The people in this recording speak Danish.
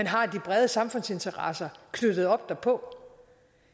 har de brede samfundsinteresser knyttet op derpå